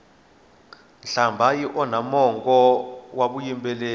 nhlambha yi onha mongo wa vuyimbeleri